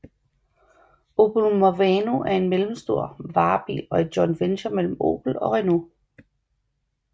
Opel Movano er en mellemstor varebil og et joint venture mellem Opel og Renault